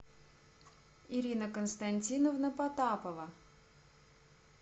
ирина константиновна потапова